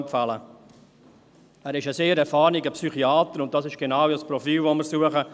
Er ist ein sehr erfahrener Psychiater, und das ist genau das Profil, das wir suchen.